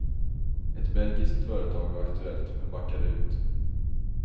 Ett belgiskt företag var aktuellt men backade ut.